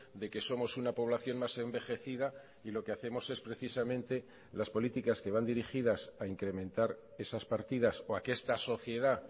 de que somos una población más envejecida y lo que hacemos es precisamente las políticas que van dirigidas a incrementar esas partidas o a que esta sociedad